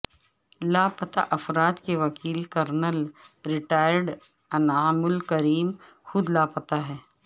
لاپتہ افراد کے وکیل کرنل ریٹائرڈ انعام الرحیم خود لاپتہ